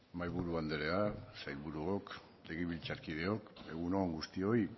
mahaiburu andrea sailburuok legebiltzarkideok egun on guztioi